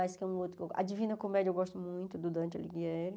A Divina Comédia eu gosto muito do Dante Alighieri.